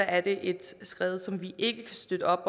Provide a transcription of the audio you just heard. er et skred som vi ikke kan støtte